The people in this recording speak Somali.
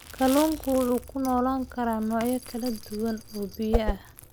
Kalluunku wuxuu ku noolaan karaa noocyo kala duwan oo biyo ah.